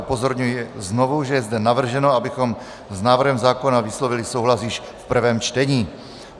Upozorňuji znovu, že je zde navrženo, abychom s návrhem zákona vyslovili souhlas již v prvém čtení.